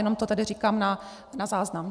Jenom to tady říkám na záznam.